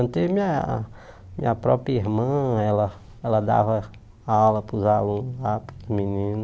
Antes, minha minha própria irmã, ela ela dava aula para os alunos lá, para os meninos.